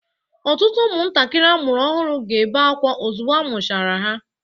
Ọtụtụ ụmụntakịrị amụrụ ọhụrụ ga-ebe akwa ozugbo a mụchara ha.